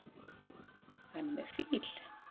Hann er með fíl.